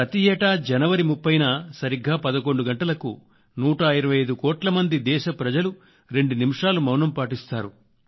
ప్రతియేటా జనవరి 30 న సరిగ్గా 11 గంటలకు 125 కోట్ల మంది దేశ ప్రజలు రెండు నిముషాలు మౌనం పాటిస్తారు